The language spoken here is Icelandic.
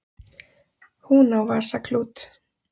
Hún á vasaklút.